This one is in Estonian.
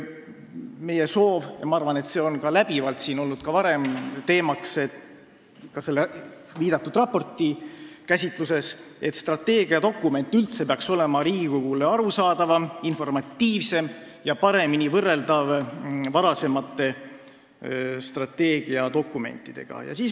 Meie soov on – ma arvan, et see on olnud siin varemgi läbivalt teemaks, ka selle viidatud raporti käsitluses –, et strateegiadokument peaks üldse olema Riigikogule arusaadavam, informatiivsem ja paremini võrreldav varasemate strateegiadokumentidega.